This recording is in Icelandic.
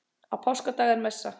Á páskadag er messa.